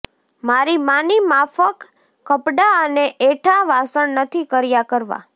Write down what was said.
મારી માની માફક કપડાં અને એઠાં વાસણ નથી કર્યા કરવાં